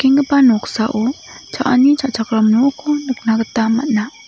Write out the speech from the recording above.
noksao cha·ani cha·chakram nokko nikna gita man·a.